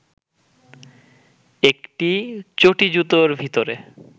একটি চটি-জুতোর ভিতরে